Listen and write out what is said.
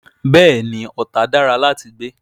Bẹ́ẹ̀ ni, Ọ̀tà dára láti gbé.